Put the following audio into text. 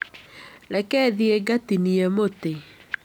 Reke thiĩ ngatinie mũtĩ.